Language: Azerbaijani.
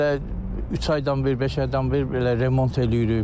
Maşını elə üç aydan bir, beş aydan bir belə remont eləyirik.